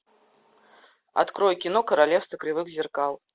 открой кино королевство кривых зеркал